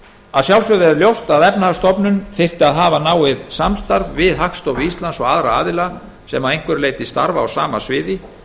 að sjálfsögðu er ljóst að efnahagsstofnun þyrfti að hafa náið samstarf við hagstofu íslands og aðra aðila sem að einhverju leyti starfa á sama sviði